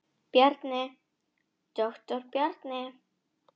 Bjarni, doktor Bjarni.